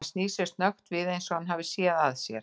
Hann snýr sér snöggt við eins og hann hafi séð að sér.